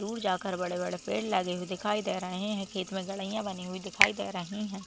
दूर जाकर बड़े बड़े पेड़ लगे हुए दिखाई दे रहे है खेत में बनी हुई दिखाई दे रही है।